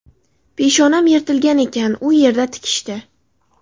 Peshonam yirtilgan ekan, u yerda tikishdi.